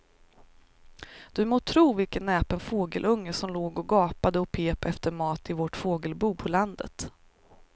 Du må tro vilken näpen fågelunge som låg och gapade och pep efter mat i vårt fågelbo på landet.